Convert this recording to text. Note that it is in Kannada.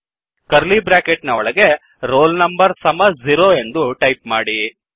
ಕರ್ಲೀ ಬ್ರ್ಯಾಕೆಟ್ ನ ಒಳಗೆ roll number ಸಮ 0 ಎಂದು ಟೈಪ್ ಮಾಡಿ